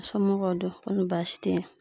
Somɔgɔw don kɔni baasi te yen